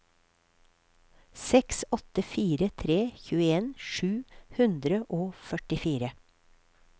seks åtte fire tre tjueen sju hundre og førtifire